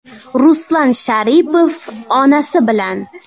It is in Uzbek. Ruslan Sharipov onasi bilan.